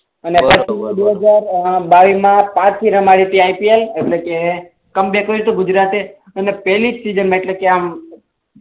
પછી રમી હતી આઇપીએલ એટલે ક કમ બેક કર્યુંતું ગુજરાતે અને પેહલી જ સેઝન મા એટલે કે આમ